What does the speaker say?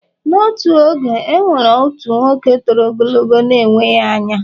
N’otu oge, e nwere otu nwoke toro ogologo na-enweghị anya